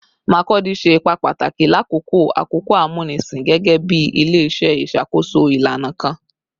Makurdi ṣe ipa pataki lakoko akoko amunisin gẹgẹbi ile-iṣẹ iṣakoso ilana kan